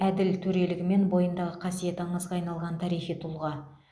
әділ төрелігі мен бойындағы қасиеті аңызға айналған тарихи тұлға